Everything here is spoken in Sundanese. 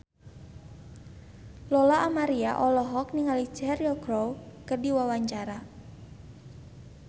Lola Amaria olohok ningali Cheryl Crow keur diwawancara